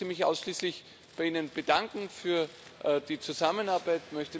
Ich möchte mich ausschließlich bei Ihnen bedanken für die Zusammenarbeit.